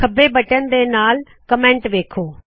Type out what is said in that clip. ਖੰਬੇ ਬਟਨ ਦੇ ਨਾਲ਼ ਦਿੱਤੀ ਟਿੱਪਣੀ ਵੇੱਖੋ